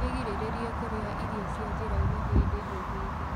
wĩgirĩrĩrie kurĩa irio cia njnira-ini hĩndĩ o hĩndĩ